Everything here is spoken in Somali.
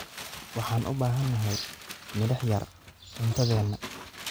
Waxaan u baahanahay milix yar cuntadeena.